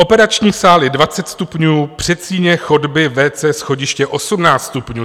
Operační sály 20 stupňů, předsíně, chodby, WC, schodiště 18 stupňů.